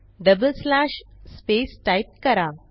double slash space type करा